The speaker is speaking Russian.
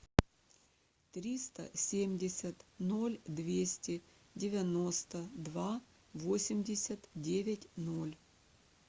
триста семьдесят ноль двести девяносто два восемьдесят девять ноль